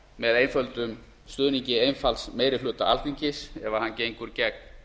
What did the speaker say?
með einföldum stuðningi einfalds meiri hluta alþingis ef hann gengur gegn